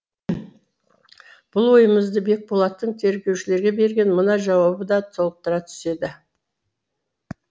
бұл ойымызды бекболаттың тергеушілерге берген мына жауабы да толықтыра түседі